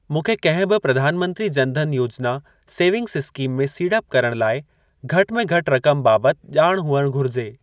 मूंखे कहिं बि प्रधानमंत्री जन धन योजना सेविंग्स इस्कीम में सीड़प करण लाइ घटि में घटि रक़म बाबति ॼाण हुअणु घुरिजे ।